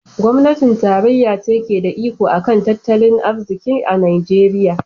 Gwamnatin tarayya ce ke da iko a kan tattalin arziki a Najeriya.